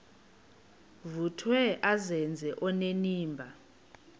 vuthiwe azenze onenimba